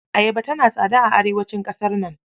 Ayaba tana tsada a arewacin ƙasar nan.